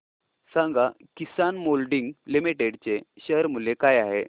सांगा Kisan moulding limited चे share मूल्य काय आहे